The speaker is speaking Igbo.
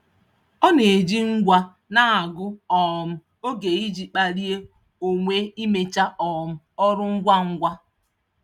Ọ na-eji ngwa na-agụ um oge iji kpalie onwe imecha um ọrụ ngwa ngwa.